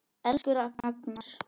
Elsku Agnar.